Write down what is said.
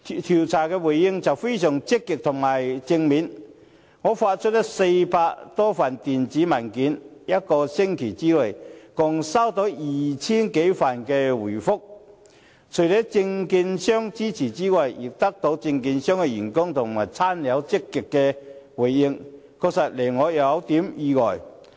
調查結果非常積極和正面，我發出400多份電子問卷，一個星期內共接獲 2,000 多份回覆，除了證券商支持之外，也獲得證券商員工和親友的極積回應，確實令我有點意外。